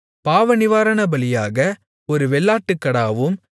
பாவநிவாரணபலியாக ஒரு வெள்ளாட்டுக்கடாவும்